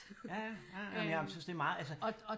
Ja ja ej men jeg synes det er meget altså